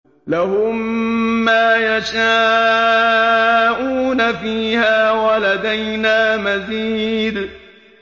لَهُم مَّا يَشَاءُونَ فِيهَا وَلَدَيْنَا مَزِيدٌ